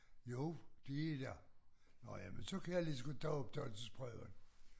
Jo de er da nåh ja men så kan jeg ligeså godt tage optagelsesprøven